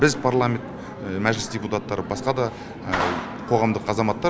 біз парламент мәжіліс депутаттары басқа да қоғамдық азаматтар